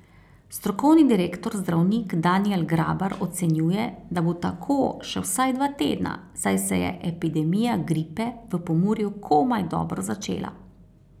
Strokovni direktor zdravnik Danijel Grabar ocenjuje, da bo tako še vsaj dva tedna, saj se je epidemija gripe v Pomurju komaj dobro začela.